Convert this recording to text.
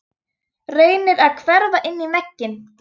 Reynir að hverfa inn í vegginn.